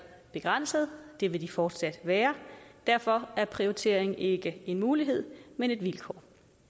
begrænsede og det vil de fortsat være og derfor er prioritering ikke en mulighed men et vilkår